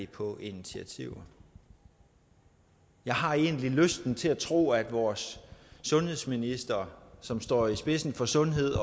på initiativer jeg har egentlig lysten til at tro at vores sundhedsminister som står i spidsen for sundhed